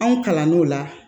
Anw kalann'o la